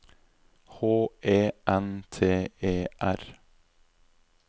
H E N T E R